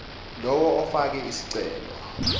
lowo ofake isicelo